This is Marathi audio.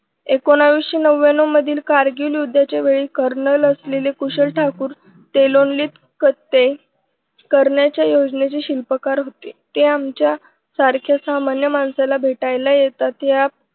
एकोणविशे नव्व्यान्नव मधील कारगिल युद्धाच्या वेळी कर्नल असलेले कुशल ठाकूर तेलोनलीत खचते. करण्याच्या योजनेचे शिल्पकार होते. ते आमच्या सारख्या सामान्य माणसाला भेटायला येतात. यात